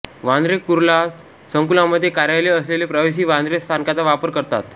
वांद्रे कुर्ला संकुलामध्ये कार्यालय असलेले प्रवासी वांद्रे स्थानकाचा वापर करतात